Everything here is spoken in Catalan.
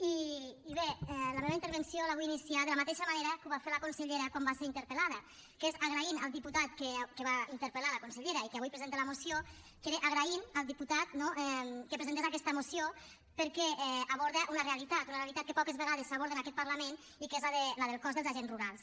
i bé la meva intervenció la vull iniciar de la mateixa manera que ho va fer la consellera quan va ser interpel·lada que és agraint al diputat que va interpel·lar la consellera i que avui presenta la moció agraint al diputat no que presentés aquesta moció perquè aborda una realitat una realitat que poques vegades s’aborda en aquest parlament i que és la del cos dels agents rurals